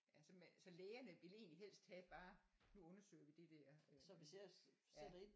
Altså man så lægerne vil egentlig helst have bare nu undersøger vi det der øh ja